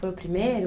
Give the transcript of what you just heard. Foi o primeiro?